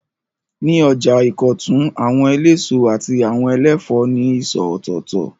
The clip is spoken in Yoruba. Ní ọjà Ìkọ̀tún, àwọn eléso àti àwọn ẹlẹ́fòó ní ìsọ̀ ọ̀tọ̀ọ̀tọ̀.